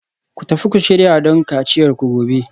Ku tafi ku shirya don kaciyarku gobe